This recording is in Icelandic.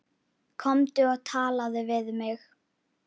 Komdu og talaðu við mig